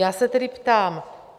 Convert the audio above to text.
Já se tedy ptám: